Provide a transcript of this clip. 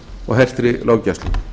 og hertri löggæslu